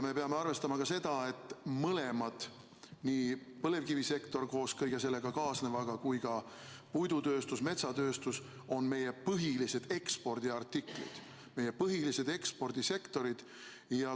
Me peame arvestama ka seda, et mõlemad, nii põlevkivisektor koos kõige sellega kaasnevaga kui ka puidutööstus, metsatööstus, on meie põhilised ekspordisektorid.